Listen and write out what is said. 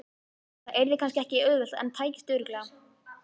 Það yrði kannski ekki auðvelt en tækist örugglega.